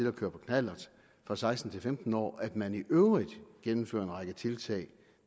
at køre på knallert fra seksten til femten år at man i øvrigt gennemfører en række tiltag